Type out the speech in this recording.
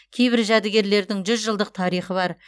кейбір жәдігерлердің жүз жылдық тарихы бар